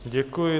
Děkuji.